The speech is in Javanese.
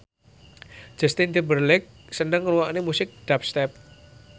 Justin Timberlake seneng ngrungokne musik dubstep